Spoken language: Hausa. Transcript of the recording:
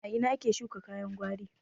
A ina ake shuka kayan gwari?